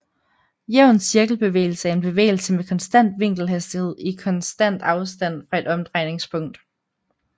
Jævn cirkelbevægelse er en bevægelse med konstant vinkelhastighed i konstant afstand fra et omdrejningspunkt